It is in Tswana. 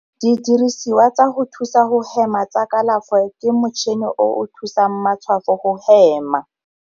Didirisiwa tsa go thusa go hema tsa kalafo ke motšhini o o thusang matshwafo go hema.